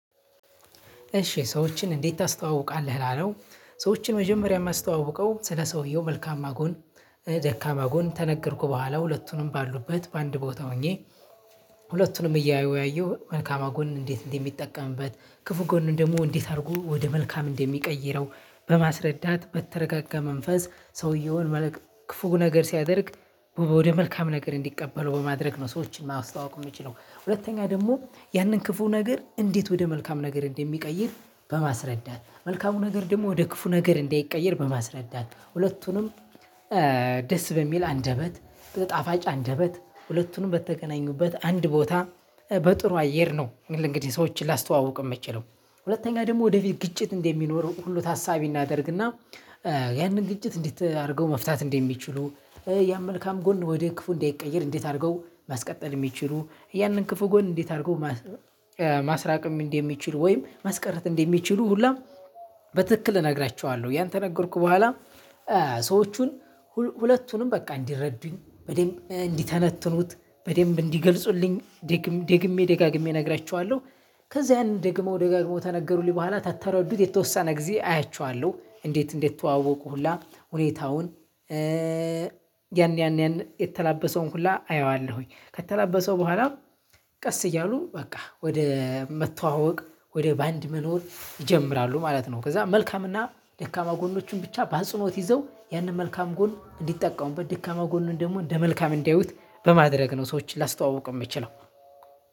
እሺ ሰዎችን እንዴት ታስተዋውቃለህ? ላለው ሰዎችን መጀመሪያ ማስተዋወቀው፣ ስለ ሰውየው መልካማ ጎን፣ ደካማ ጎን፣ ተነገርኩ በኋላ ሁለቱንም ባሉበት በአንድ ቦታ ሆኜ ሁለቱንም እያወያየሁ፣ መልካማ ጎን እንዴት እንደሚጠቀምበት፣ ክፉ ጎን ደሞ እንዴት አድርጎ ወደ መልካም እንደሚቀይረው በማስረዳት በተረጋጋ መንፈስ ሰውዬውን ክፉ ነገር ሲያደርግ ወደ መልካም ነገር እንዲቀበለው በማድረግ ነው ሰዎችን ማስተዋወቅ የምችለው። ሁለተኛ ደግሞ ያንን ክፉ ነገር እንዴት ወደ መልካም ነገር እንደሚቀይር፣ በማስረዳት፣ መልካሙ ነገር ደግሞ ወደ ክፉ ነገር እንዳይቀየር በማስረዳት፣ ሁለቱንም ደስ በሚል አንደበት፣ በጣፋጭ አንደበት፣ ሁለቱንም በተገናኙበት አንድ ቦታ፣ በጥሩ አየር ነው። እንግዲህ ሰዎችን ላስተዋውቅ ምችለው። ሁለተኛ ደግሞ ወደፊት ግጭት እንደሚኖር ሁሉ ታሳቢ እናደርግና ያንን ግጭት እንዴት አድርገው መፍታት እንደሚችሉ፣ ያን መልካም ጎን ወደ ክፉ እንዳይቀየር እንዴት አድርገው ማስቀጠል ሚችሉ። ያንን ክፉ ጎን እንዴት አርጎ ማስራቅ እንደሚችሉ ወይም ማስቀረት እንደሚችሉ ሁላ በትክክል እነግራችኋለሁ። ያን ተነገርኩ በኋ፣ ሰዎቹን ሁለቱንም በቃ እንዲረዱኝ በደንብ እንዲተነትኑት፣ በደንብ እንዲገልጹልኝ፣ ደግሜ ደጋግሜ እነግራችኋለሁ። ከዛ ያንን ደግሞ ደጋግሞ ተነገሩልኝ በኋላ ተተረዱት የተወሰነ ጊዜ አያችኋለሁ። እንዴት እንዴት ተዋወቁ ሁላ ሁኔታውን ያን ያን ያን የተላበሰውን ሁላ አየዋለሁኝ። ከተላበሰው በኋላ ቀስ እያሉ በቃ፣ ወደ መተዋወቅ ወደ ባንድ መኖር ይጀምራሉ ማለት ነው። ከዛ መልካምና ደካማ ጎኖችን ብቻ በአጽኖት ይዘው፣ ያንን መልካም ጎን እንዲጠቀሙበት፣ ድካማ ጎንን ደግሞ እንደ መልካም እንዲያዩት፣ በማድረግ ነው ሰዎችን ላስተዋውቅ የምችለው።